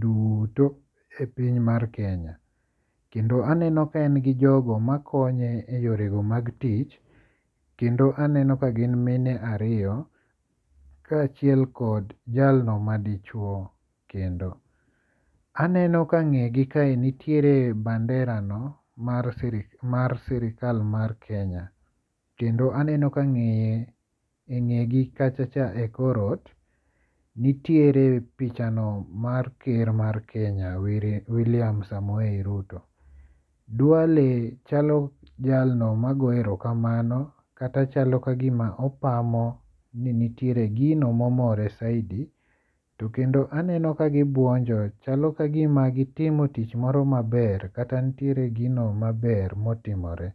duto e piny mar Kenya. Kendo aneno ka en gi jogo makonye e yore go mag tich kendo aneno ka gin mine ariyo ka achiel kod jalno ma dichuo kendo. Aneno ka ng'e gi kae nitiere banderano mar sirkal mar Kenya. Kendo aneno ka ng'eye e ng'e gi kacha cha e kor ot nitiere pichano mar ker mar Kenya William Samoei Ruto. Duale chalo jalno ma goyo ero kamano kata chalo ka gima opamo ni nitiere gino momore saidi. To kendo aneno ka gibuonjo. Chalo kagima gitimo tich moro maber kata nitiere gino maber motimore.